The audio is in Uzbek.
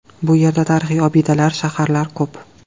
Bu yerda tarixiy obidalar, shaharlar ko‘p.